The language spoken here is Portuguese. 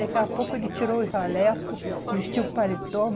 Daqui a pouco ele tirou o jaleco, vestiu o paletó.